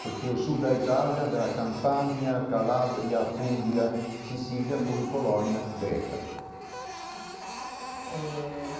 porque o sul da Itália, da Campania, Calabria, Apulia, Sicília, foi Colônia grega eh.